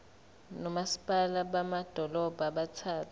nomasipala bamadolobha abathathu